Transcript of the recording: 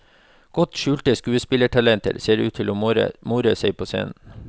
Godt skjulte skuespillertalenter så ut til å more seg på scenen.